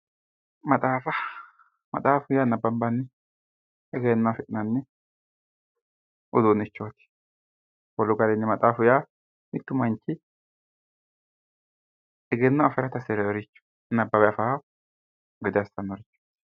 Maxaafa, maaxafu yaa nabbabaniho egenno affi'nanni uduunichoti wolu garinni maxaafu yaa manchi egenno afirate nabbawe afirano gede assanorichoti.